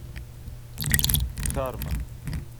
карма